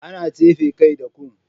Ana tsefe kai da kum.